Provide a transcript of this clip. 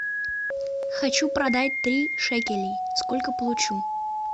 хочу продать три шекелей сколько получу